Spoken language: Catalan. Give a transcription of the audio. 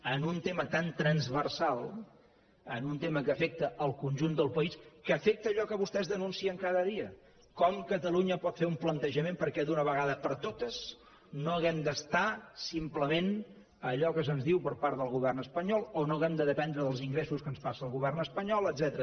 en un tema tan transversal en un tema que afecta el conjunt del país que afecta allò que vostès denuncien cada dia com catalunya pot fer un plantejament perquè d’una vegada per totes no hàgim d’estar simplement a allò que se’ns diu per part del govern espanyol o no hàgim de dependre dels ingressos que ens passa el govern espanyol etcètera